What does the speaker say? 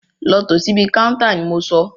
Lọ tò síbi káúntá ni mo sọ!